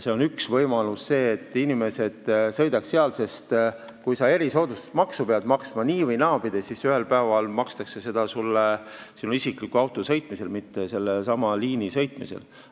See on üks võimalus, see, et inimesed seda kasutaksid, sest kui sa erisoodustusmaksu pead maksma nii- või naapidi, siis ühel päeval makstakse seda isikliku autoga sõitmise, mitte sellelsamal liinil sõitmise eest.